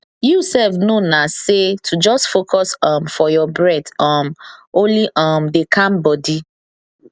you sef know na say to just focus um for your breathe um only um dey calm body